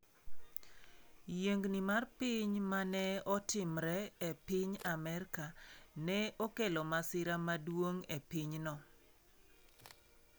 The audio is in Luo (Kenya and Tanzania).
Yiengni mar piny ma ne otimore e piny Amerka ne okelo masira maduong' e pinyno.